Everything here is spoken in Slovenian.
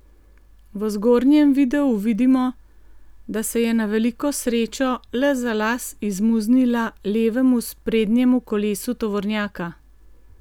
V zgornjem videu vidimo, da se je na veliko srečo le za las izmuznila levemu sprednjemu kolesu tovornjaka.